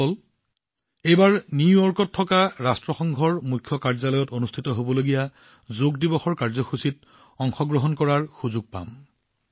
বন্ধুসকল এইবাৰ নিউয়ৰ্কস্থিত ৰাষ্ট্ৰসংঘৰ মুখ্য কাৰ্যালয়ত অনুষ্ঠিত হবলগীয়া যোগ দিৱসৰ কাৰ্যসূচীত অংশগ্ৰহণ কৰাৰ সুযোগ পাম